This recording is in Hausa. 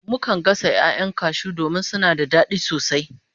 Mukan gasa 'ya'yan cashew domin suna da dadi sosai